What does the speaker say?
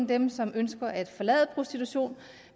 dem som ønsker at forlade prostitution